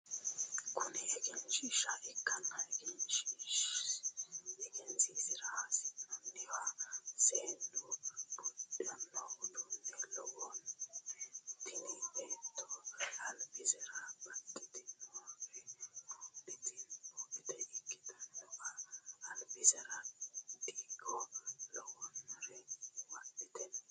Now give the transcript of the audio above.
Kuni egensiishsha ikkanna egensiinsara hasi'noonnihuno seennu buudhano uduunne lawannoe tini beettono alibisera babbaxinore buudhitinota ikkitanna alibiserano diigo lawannore wodhite no